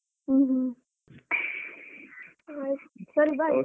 ಹ್ಮ ಹ್ಮ ಆಯ್ತ್ ಸರಿ